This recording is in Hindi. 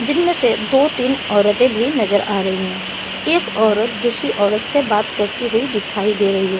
जिनमें से दो तीन औरतें भी नजर आ रही है एक औरत दूसरी औरत से बात करती हुई दिखाई दे रही है।